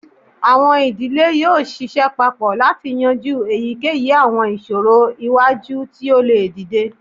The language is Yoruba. Awọn idile yoo ṣiṣẹ papọ lati yanju eyikeyi awọn iṣoro iwaju ti o le dide